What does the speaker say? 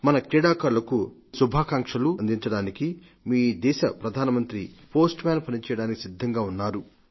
మన క్రీడాకారులకు మీ శుభాకాంక్షలు అందించడానికి మీ దేశ ప్రధాన మంత్రి పోస్టుమ్యాన్ పని చేయడానికి సిద్ధంగా ఉన్నాడు